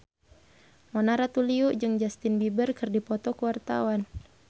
Mona Ratuliu jeung Justin Beiber keur dipoto ku wartawan